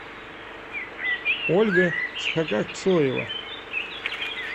ольга шхагапсоева